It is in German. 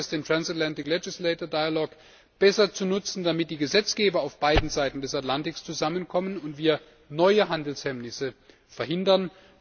Wie schaffen wir es, den Transatlantischen Dialog der Parlamentsmitglieder besser zu nutzen, damit die Gesetzgeber auf beiden Seiten des Atlantiks zusammenkommen und wir neue Handelshemmnisse verhindern?